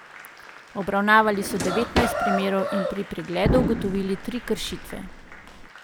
Obravnavali so devetnajst primerov in pri pregledu ugotovili tri kršitve.